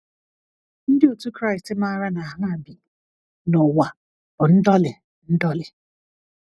Ndị otu Kraịst maara na ha bi n’ụwa bụ ndọli ndọli.